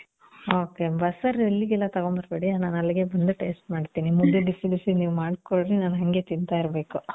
ok. ಬಸ್ಸಾರ್ ಇಲ್ಲಿಗೆಲ್ಲ ತಗೊಂಡ್ ಬರ್ಬೇಡಿ. ನಾನ್ ಅಲ್ಲಿಗೆ ಬಂದು taste ಮಾಡ್ತೀನಿ. ನೀವ್ ಮುದ್ದೆ ಬಸಿ ಬಿಸಿ ನೀವ್ ಮಾಡ್ಕೊಡ್ರಿ. ನಾನ್ ಹಂಗೆ ತಿಂತಾ ಇರ್ಬೇಕು.